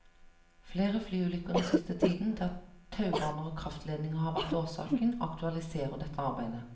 Flere flyulykker den siste tiden, der taubaner og kraftledninger har vært årsaken, aktualiserer dette arbeidet.